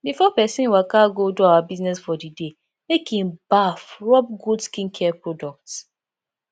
before person waka go do our business for di day make in baff rubb good skincare product